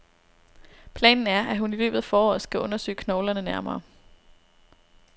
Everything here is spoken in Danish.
Planen er, at hun i løbet af foråret skal undersøge knoglerne nærmere.